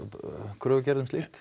kröfugerð um slíkt